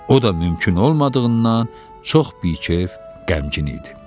O da mümkün olmadığından çox bikef, qəmgin idi.